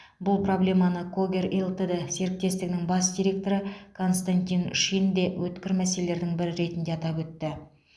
бұл проблеманы когер лтд серіктестігінің бас директоры константин шин де өткір мәселелердің бірі ретінде атап өтті